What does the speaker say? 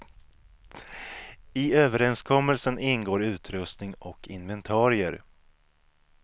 I överenskommelsen ingår utrustning och inventerier.